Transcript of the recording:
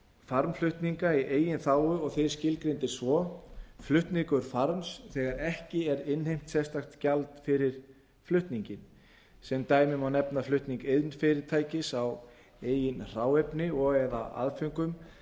farmflutninga í eigin þágu og þeir skilgreindir svo flutningur farms þegar ekki er innheimt sérstakt gjald fyrir flutninginn sem dæmi má nefna flutning iðnfyrirtækis á eigin hráefni og eða aðföngum